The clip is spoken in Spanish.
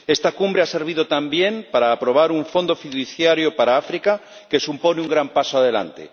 Esta cumbre ha servido también para aprobar un fondo fiduciario para África, que supone un gran paso adelante.